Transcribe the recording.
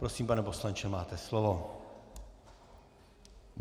Prosím, pane poslanče, máte slovo.